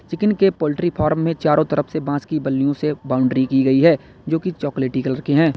Chicken के poultry farm में चारों तरफ से बास की बल्लियों से बाउंड्री की गई है जो की चॉकलेटी कलर के हैं।